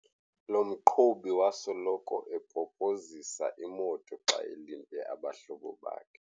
Lo mqhubi wasoloko epopozisa imoto xa elinde abahlobo bakhe.